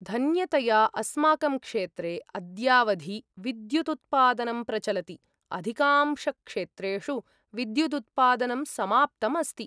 धन्यतया अस्माकं क्षेत्रे अद्यावधि विद्युदुत्पादनं प्रचलति, अधिकांशक्षेत्रेषु विद्युदुत्पादनं समाप्तम् अस्ति।